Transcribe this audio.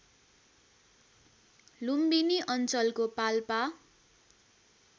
लुम्बिनी अञ्चलको पाल्पा